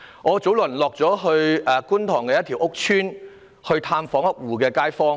我早前到觀塘一個屋邨探訪一戶街坊。